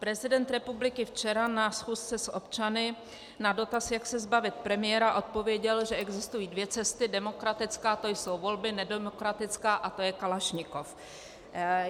Prezident republiky včera na schůzce s občany na dotaz, jak se zbavit premiéra, odpověděl, že existují dvě cesty: demokratická, to jsou volby, nedemokratická, a to je Kalašnikov.